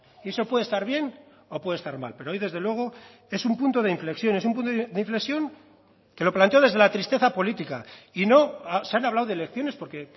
y eso puede estar bien o puede estar mal pero hoy desde luego es un punto de inflexión es un punto de inflexión que lo planteo desde la tristeza política y no se han hablado de elecciones porque